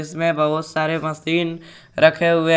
बहुत सारे मशीन रखे हुए हैं।